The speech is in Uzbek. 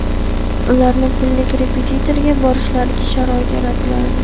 ularni pullik repetitorlarga borishlariga sharoit yaratilardi.